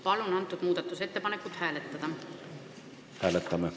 Palun seda muudatusettepanekut hääletada!